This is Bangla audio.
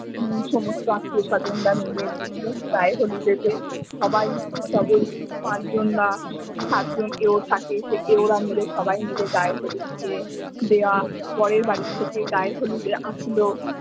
সমস্ত আত্মীয় সজনরা মিলে সেগুলো গায়ে হলুদেতে সবাই পাঁচজনরা সাতজন এও থাকে সেই এওরা মিলে সবাই মিলে গায়ে হলুদ দিয়ে দেওয়া বরের বাড়ি থেকে গায়ে হলুদ আসলো।